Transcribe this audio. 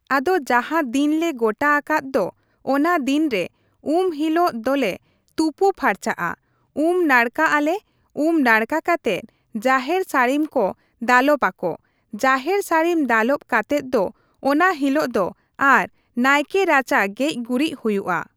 ᱟᱫᱚ ᱡᱟᱦᱟᱸ ᱫᱤᱱ ᱞᱮ ᱜᱚᱴᱟ ᱟᱠᱟᱫ ᱫᱚ ᱚᱱᱟ ᱫᱤᱱ ᱨᱮ ᱩᱢ ᱦᱤᱞᱚᱜ ᱫᱚᱞᱮ ᱛᱩᱯᱩ ᱯᱷᱟᱨᱪᱟᱜᱼᱟ, ᱩᱢ ᱱᱟᱲᱠᱟ ᱟᱞᱮ ᱩᱢ ᱱᱟᱲᱠᱟ ᱠᱟᱛᱮᱜ ᱡᱟᱦᱮᱨ ᱥᱟᱹᱲᱤᱢ ᱠᱚ ᱫᱟᱞᱚᱵ ᱟᱠᱚ ᱡᱟᱦᱮᱨ ᱥᱟᱹᱲᱤᱢ ᱫᱟᱞᱚᱵ ᱠᱟᱛᱮᱜ ᱫᱚ ᱚᱱᱟ ᱦᱤᱞᱚᱜ ᱫᱚ ᱟᱨᱚ ᱱᱟᱭᱠᱮ ᱨᱟᱪᱟ ᱜᱮᱡ ᱜᱩᱨᱤᱡᱽ ᱦᱩᱭᱩᱜᱼᱟ ᱾